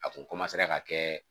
A kun ka kɛ